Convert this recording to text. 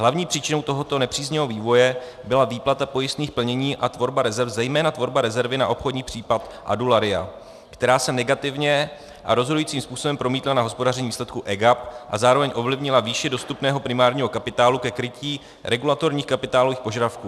Hlavní příčinou tohoto nepříznivého vývoje byla výplata pojistných plnění a tvorba rezerv, zejména tvorba rezervy na obchodní případ Adularya, která se negativně a rozhodujícím způsobem promítla na hospodaření výsledku EGAP a zároveň ovlivnila výši dostupného primárního kapitálu ke krytí regulatorních kapitálových požadavků.